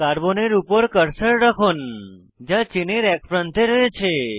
কার্বনের উপর কার্সার রাখুন যা চেনের এক প্রান্তে রয়েছে